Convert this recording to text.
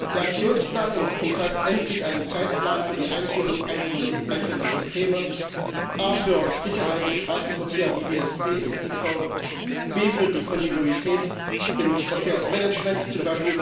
Der Aktionsplan umfasst endlich einen Zeitplan für die Einführung einzelner Systeme, a für Sicherheit im Straßenverkehr wie ESP und eCall, b für die Kontinuität im Verkehrsmanagement, z.